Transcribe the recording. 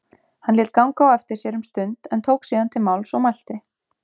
Hann lét ganga á eftir sér um stund en tók síðan til máls og mælti